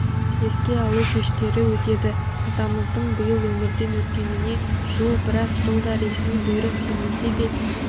еске алу кештері өтеді атамыздың биыл өмірден өткеніне жыл бірақ жылда ресми бұйрық келмесе де